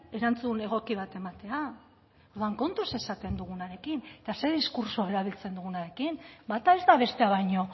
erantzun bat ematea orduan kontuz esaten dugunarekin eta zer diskurtso erabiltzen dugunarekin bata ez da bestea baino